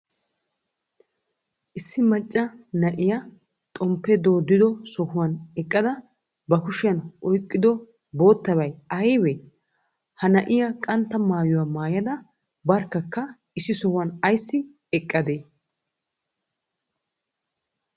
Issi maccaa naa'iya xomppe doddido sohuwan eqqada ba kushiyan oyqqido bottabay aybee? Ha naa'iya qantta maayuwaa maayada barkakka issi sohuwan aysi eqqade?